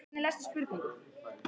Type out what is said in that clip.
Fjölgað í samninganefnd ríkisins